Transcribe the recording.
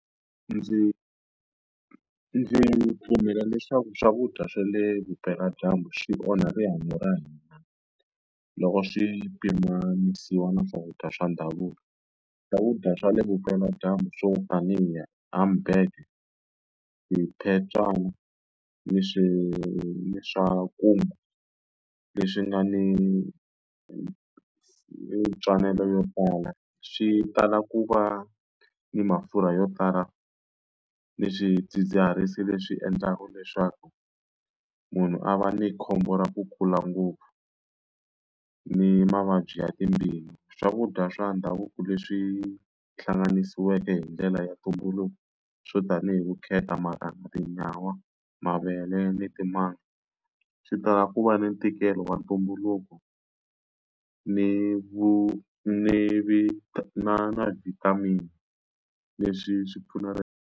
Ndzi ndzi pfumela leswaku swakudya swa le vupeladyambu swi onhe rihanyo ra hina, loko swi pimanisiwa na swakudya swa ndhavuko. Swakudya swa le vupeladyambu swo tanihi humburger, swiphetwana ni ni leswi nga ni ntswalelo yo tala swi tala ku va ni mafurha yo tala ni swidzidziharisi leswi endlaka leswaku munhu a va ni khombo ra ku kula ngopfu ni mavabyi ya timbilu. Swakudya swa ndhavuko leswi hlanganisiweke hi ndlela ya ntumbuluko swo tani hi vukheta, marhanga, tinyawa, mavele ni timanga, swi tala ku va ni ntikelo wa ntumbuluko ni ni na na vitamin, leswi swi pfuna .